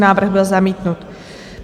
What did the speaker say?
Návrh byl zamítnut.